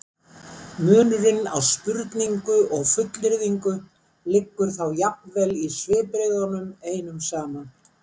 munurinn á spurningu og fullyrðingu liggur þá jafnvel í svipbrigðunum einum saman